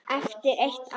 Eftir eitt ár?